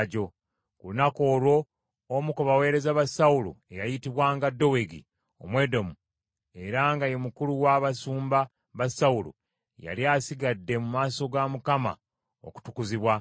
Ku lunaku olwo omu ku baweereza ba Sawulo eyayitibwanga Dowegi Omwedomu, era nga ye mukulu w’abasumba ba Sawulo, yali asigadde mu maaso ga Mukama okutukuzibwa.